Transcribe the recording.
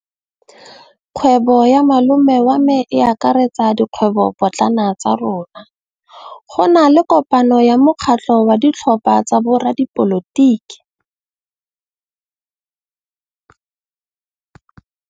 Kgwêbô ya malome wa me e akaretsa dikgwêbôpotlana tsa rona. Go na le kopanô ya mokgatlhô wa ditlhopha tsa boradipolotiki.